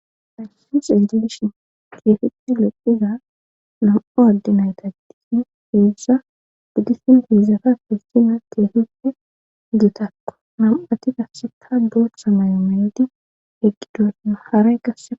hanshin xeejedshin keefihi loqiza nam7o addinaytadi heedzza gudisin hiizzata fissina keefippe gitakko mam7ati gasseka boochcha may7o meydi heqqidosna haray gass